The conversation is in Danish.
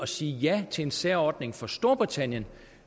sige ja til en særordning for storbritannien